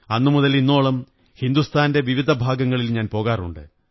അന്നുമുതൽ ഇന്നോളം ഹിന്ദുസ്ഥാന്റെ വിവിധ ഭാഗങ്ങളിൽ ഞാൻ പോകാറുണ്ട്